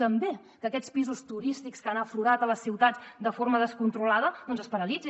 també que aquests pisos turístics que han aflorat a les ciutats de forma descontrolada es paralitzin